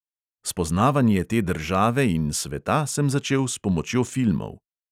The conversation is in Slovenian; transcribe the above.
Spoznavanje te države in sveta sem začel s pomočjo filmov.